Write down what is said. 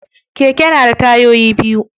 Keke na da tayoyi biyu.